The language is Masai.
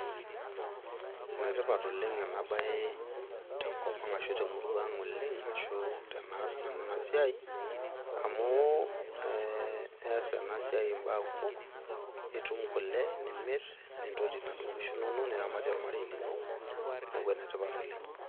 Ene tipat ena bae oleng tenkop ashu temurua ang amu tenaas nanu ena siai amu ees ena siai mbaa kumok , itum kule nimir , nintoti inaduoo kishu inonok , niramatie ormarei lino, niaku ene tipat oleng.